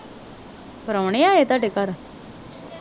ਪ੍ਰੋਹਣੇ ਆਏ ਤੁਹਾਡੇ ਘਰ?